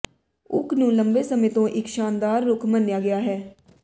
okay ਨੂੰ ਲੰਬੇ ਸਮੇਂ ਤੋਂ ਇੱਕ ਸ਼ਾਨਦਾਰ ਰੁੱਖ ਮੰਨਿਆ ਗਿਆ ਹੈ